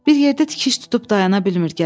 Bir yerdə tikiş tutub dayana bilmir qədər.